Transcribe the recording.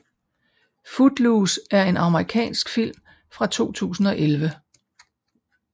Footloose er en amerikansk film fra 2011